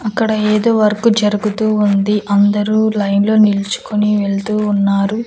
అక్కడ ఏదో వర్క్ జరుగుతూ ఉంది అందరూ లైన్ లో నిలుచుకొని వెళ్తూ ఉన్నారు.